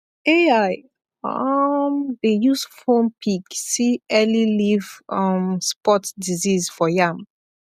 ai um dey use phone pic see early leaf um spot disease for yam